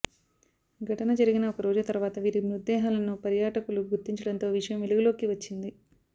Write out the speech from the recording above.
ఘటన జరిగిన ఒక రోజు తర్వాత వీరి మృతదేహాలను పర్యాటకులు గుర్తించడంతో విషయం వెలుగులోకి వచ్చింది